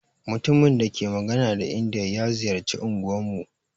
Mutumin dake magana da indiya ya ziƴarci unguwan mu.